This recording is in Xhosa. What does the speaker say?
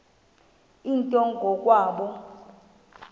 nto ngo kwabo